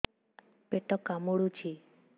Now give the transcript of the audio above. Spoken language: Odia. ପେଟ କାମୁଡୁଛି